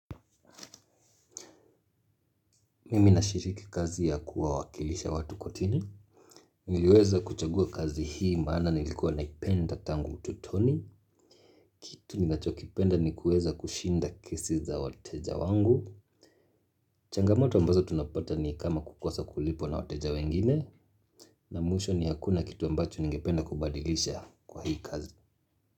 Mimi nashiriki kazi ya kuwawakilisha watu kortini niliweza kuchagua kazi hii maana nilikuwa naipenda tangu utotoni. Kitu ninachokipenda ni kuweza kushinda kesi za wateja wangu. Changamoto ambazo tunapata ni kama kukosa kulipwa na wateja wengine na mwisho ni hakuna kitu ambacho ningependa kubadilisha kwa hii kazi.